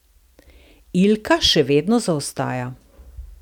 Ilka še vedno zaostaja.